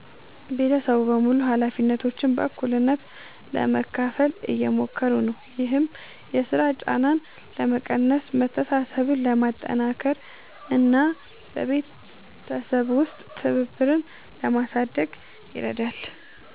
ቤተሰቡ በሙሉ ኃላፊነቶችን በእኩልነት ለመካፈል እየሞከሩ ነው። ይህም የሥራ ጫናን ለመቀነስ፣ መተሳሰብን ለማጠናከር እና በቤተሰብ ውስጥ ትብብርን ለማሳደግ ይረዳል።